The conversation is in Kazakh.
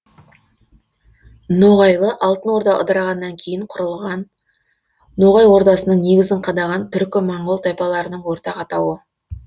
ноғайлы алтын орда ыдырағаннан кейін құрылған ноғай ордасының негізін қадаған түркі моңғол тайпаларының ортақ атауы